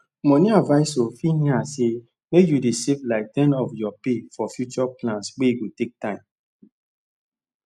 money advisor fit yarn say make you dey save like ten of your pay for future plans wey go take time